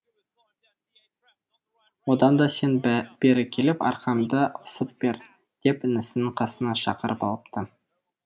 одан да сен бері келіп арқамды ысып бер деп інісін қасына шақырып алыпты